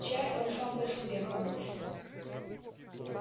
чай он сам по себе хорош